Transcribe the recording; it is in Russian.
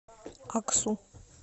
аксу